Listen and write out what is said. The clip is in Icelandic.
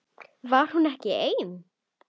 Var hún ekki ein?